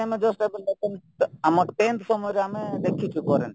ଆମେ just ଆମ tenth ସମୟରେ ଆମେ ଦେଖିଚୁ କରେଣ୍ଟ